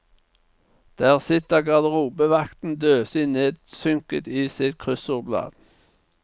Der sitter garderobevakten døsig nedsynket i sitt kryssordblad.